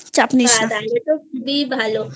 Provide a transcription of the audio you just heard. চাপ নিস না তাহলে তো খুবই ভালো